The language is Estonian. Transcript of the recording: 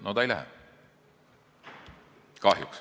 No ei lähe, kahjuks.